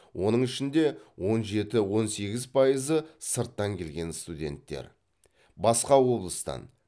оның ішінде он жеті он сегіз пайызы сырттан келген студенттер басқа облыстан